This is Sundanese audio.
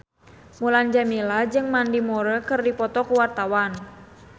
Mulan Jameela jeung Mandy Moore keur dipoto ku wartawan